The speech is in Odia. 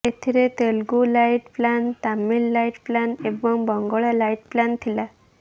ଏଥିରେ Telugu light plan Tamil light plan ଏବଂ ବଙ୍ଗଳା ଲାଇଟ୍ ପ୍ଲାନ୍ ଥିଲା